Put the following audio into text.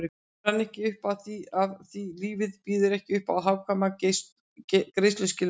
Hún rann ekki upp afþví lífið býður ekki uppá hagkvæma greiðsluskilmála